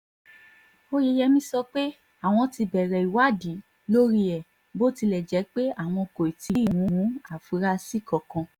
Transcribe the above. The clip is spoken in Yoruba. oyeyèmí sọ pé àwọn ti bẹ̀rẹ̀ ìwádìí lórí ẹ̀ bó tilẹ̀ jẹ́ pé àwọn kò tí ì mú àfúrásì kankan